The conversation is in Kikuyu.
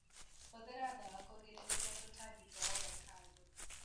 Hũthĩra ndawa kũrigĩrĩria tũtambi twa ovacando.